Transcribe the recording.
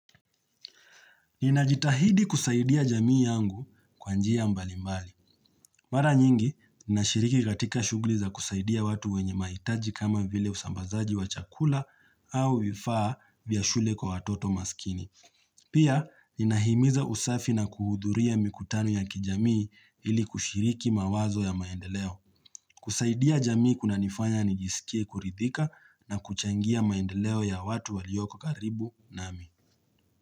Ninajitahidi kusaidia jamii yangu kwa njia mbali mbali. Mara nyingi, ninashiriki katika shughuli za kusaidia watu wenye mahitaji kama vile usambazaji wa chakula, au vifaa vya shule kwa watoto maskini. Pia, ninahimiza usafi na kuhudhuria mikutano ya kijamii, ili kushiriki mawazo ya maendeleo. Kusaidia jamii kunanifanya nijisikie kuridhika na kuchangia maendeleo ya watu walioko karibu nami.